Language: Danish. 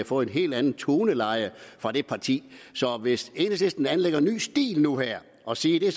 fået et helt andet toneleje fra det parti så hvis enhedslisten anlægger en ny stil nu her og siger